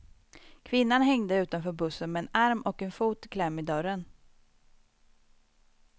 Kvinnan hängde utanför bussen med en arm och en fot i kläm i dörren.